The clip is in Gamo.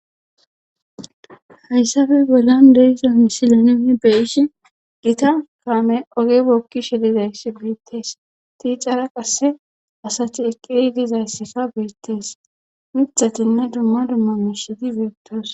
hayssafe bollan deyisa misileneni beyishi gita kaame oge bokki shelizays beittees tiicara qasse asati eqqiri dizayssasa beettees mithatinne dumma dumma mishidi biettoos